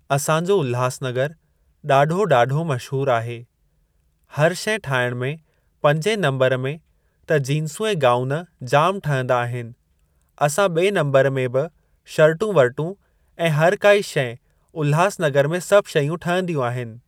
असां जो उल्हासनगर ॾाढो ॾाढो मशहूर आहे। हर शइ ठाहिण में पंजे नंबर में त जीन्सूं ऐं गाऊन जाम ठहिंदा आहिनि असां ॿे नम्बर में बि शर्टूं वर्टूं ऐं हर काई शइ उल्हासनगर में सभु शयूं ठहंदियूं आहिनि।